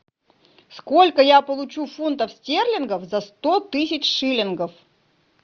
сколько я получу фунтов стерлингов за сто тысяч шиллингов